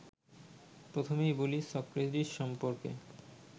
প্রথমেই বলি সক্রেটিস সম্পর্কে